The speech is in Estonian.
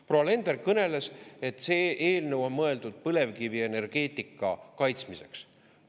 Proua Alender kõneles, et see eelnõu on mõeldud põlevkivienergeetika kaitsmiseks.